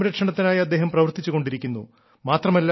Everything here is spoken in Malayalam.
വനസംരക്ഷണത്തിനായി അദ്ദേഹം പ്രവർത്തിച്ചുകൊണ്ടിരിക്കുന്നു